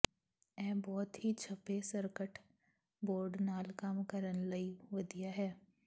ਇਹ ਬਹੁਤ ਹੀ ਛਪੇ ਸਰਕਟ ਬੋਰਡ ਨਾਲ ਕੰਮ ਕਰਨ ਲਈ ਵਧੀਆ ਹੈ